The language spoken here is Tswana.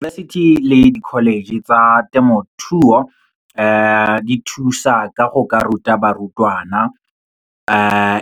Diyunibesithi le di-college tsa temothuo, di thusa ka go ka ruta barutwana,